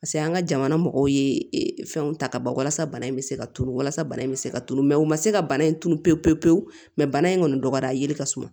Paseke an ka jamana mɔgɔw ye fɛnw ta ka ban walasa bana in bɛ se ka tulu walasa bana in bɛ se ka turu mɛ u ma se ka bana in tun pewu pewu pewu bana in kɔni dɔgɔyara yiri ka suma